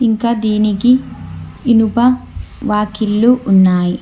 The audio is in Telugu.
ఇంకా దీనికి ఇనుప వాకిళ్లు ఉన్నాయ్.